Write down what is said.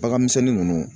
Bagan misɛnnin nunnu